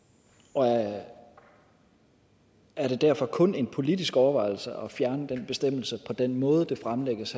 og er det derfor kun en politisk overvejelse at fjerne den bestemmelse på den måde det fremlægges